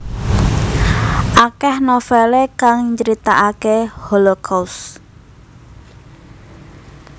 Akeh novele kang nyritakake Holocaust